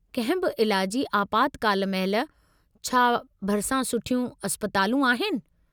कंहिं बि इलाजी आपातकाल महिल, छा भरिसां सुठियूं इस्पतालूं आहिनि?